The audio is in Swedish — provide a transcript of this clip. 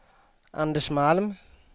Anders Malm